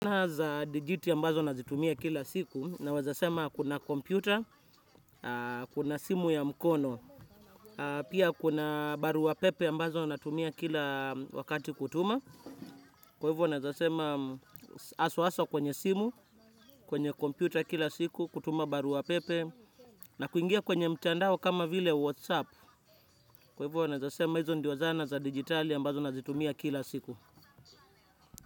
Kazi za digiti mbazo nazitumia kila siku naweza sema kuna kompyuta, kuna simu ya mkono. Pia kuna barua pepe ambazo wanatumia kila wakati kutuma. Kwahivyo unaweza sema haswa haswa kwenye simu, kwenye kompyuta kila siku, kutuma barua pepe. Nakuingia kwenye mtandao kama vile whatsapp. Kwahivyo unaweza sema hizo ndio zana za digitali ambazo nazitumia kila siku.